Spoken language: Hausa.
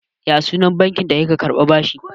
Ya ya sunan bankin da kika karɓi bashi.